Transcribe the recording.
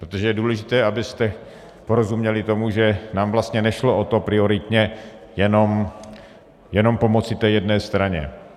Protože je důležité, abyste porozuměli tomu, že nám vlastně nešlo o to prioritně jenom pomoci té jedné straně.